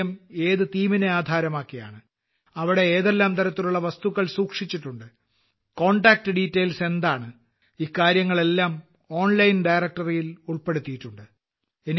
museum ഏത് details നെ ആധാരമാക്കിയാണ് അവിടെ ഏതെല്ലാം തരത്തിലുള്ള വസ്തുക്കൾ സൂക്ഷിച്ചിട്ടുണ്ട് കോണ്ടാക്ട് ഡിറ്റെയിൽസ് എന്താണ് ഇക്കാര്യങ്ങളെയെല്ലാം ഓൺലൈൻ ഡയറക്ടറി ൽ ഉൾപ്പെടുത്തിയിട്ടുണ്ട്